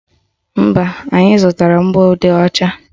Mba, anyị zụtara mgbọodee ọcha